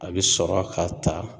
A bɛ sɔrɔ k'a ta